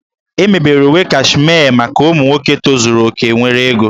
E mebere uwe Kashmee maka ụmụ nwoke tozuru oke nwere ego